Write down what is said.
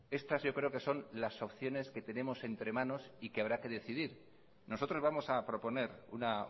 estas yo creo que son las opciones que tenemos entre manos y que habrá que decidir nosotros vamos a proponer una